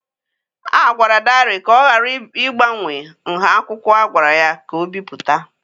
A gwara Dare ka ọ ghara ịgbanwe nha akwụkwọ a gwara ya ka o bipụta.